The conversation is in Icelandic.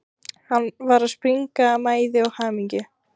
Hann var að springa af mæði og hamingju.